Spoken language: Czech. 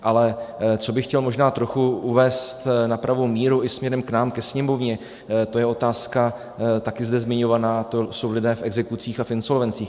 Ale co bych chtěl možná trochu uvést na pravou míru i směrem k nám, ke Sněmovně, to je otázka taky zde zmiňovaná, to jsou lidé v exekucích a v insolvencích.